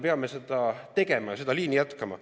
Me peame seda liini jätkama.